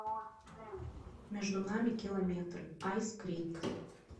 между нами километры айскрин